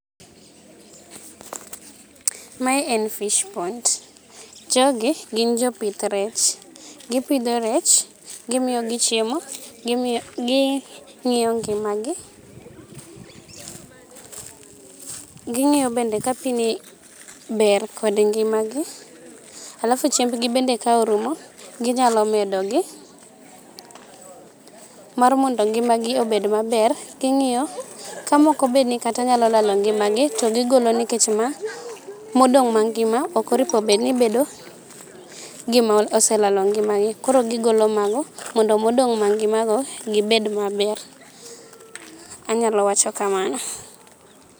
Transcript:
Mae en fish pond jogi gin jopith rech. Gipidho rech gimiyogi chiemo ging'iyo gi ng'iyo ngimagi. Ging'iyo bende ka[piini ber kod ngimagi alafu chimbgi bende ka orumo ginyalo medogi. Mar mondo ngimagi obed maber king'iyo kamoko bedni kata nyalo lalo ngimagi to gigolo nikech ma modong' mangima ok oripo bedni bedogi moselalo ngimagi. Koro gigolo mago mondo modong' mangimago gibed maber. Anyalo wacho kamano.